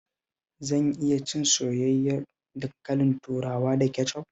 Zan iya cin soyayyen dankalin turawa da kecof?